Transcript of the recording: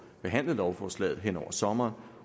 behandlet lovforslaget hen over sommeren